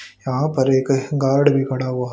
यहां पर एक गार्ड भी खडा हुआ--